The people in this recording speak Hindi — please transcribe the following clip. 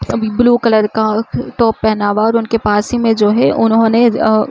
अभी ब्लू कलर का टॉप पहना हुआ है और उनके पास ही में जो है उन्होंने आ --